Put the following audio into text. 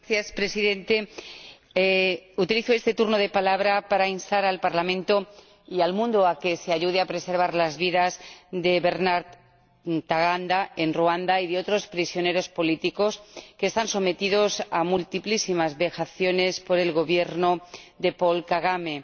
Señor Presidente, utilizo este turno de palabra para instar al Parlamento y al mundo a que se ayude a preservar las vidas de Bernard Ntaganda, en Ruanda, y de otros prisioneros políticos que son sometidos a múltiples vejaciones por el Gobierno de Paul Kagame.